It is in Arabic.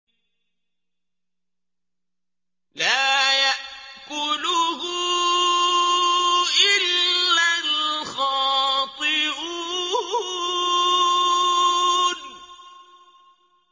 لَّا يَأْكُلُهُ إِلَّا الْخَاطِئُونَ